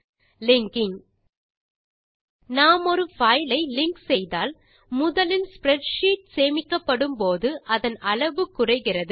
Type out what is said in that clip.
linking நாம் ஒரு file ஐ லிங்க் செய்தால் முதலில் ஸ்ப்ரெட்ஷீட் சேமிக்கப்படும் போது அதன் அளவு குறைகிறது